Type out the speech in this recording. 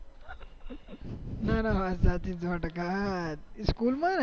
ના ના વાત સાચી સો ટકા સ્કૂલ માં